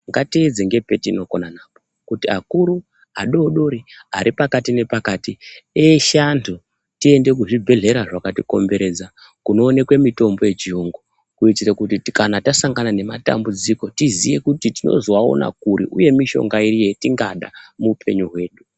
Ngatiedze ngepetinokona napo kuti akuru adori dori, ari pakati nepakati eshe antu tiende kuzvibhedhlera zvakatikomberedza kunoonekwe mitombo yechiyungu kuitire kuti kana tasangana nematambudziko tiziwe kuti tinozoawona kuri uye mishonga iri yatingada muupenyu hwedu.